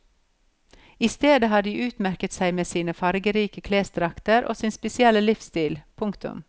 I stedet har de utmerket seg med sine fargerike klesdrakter og sin spesielle livsstil. punktum